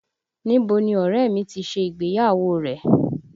Níbo ni ọ̀rẹ́ ẹ̀ mi ti ṣe ìgbéyàwó rẹ̀?